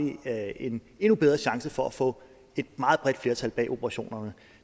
en endnu bedre chance for at få et meget bredt flertal bag operationerne